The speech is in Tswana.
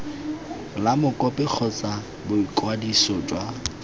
la mokopi kgotsa boikwadiso jwa